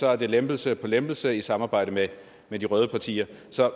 er det lempelse på lempelse i samarbejde med med de røde partier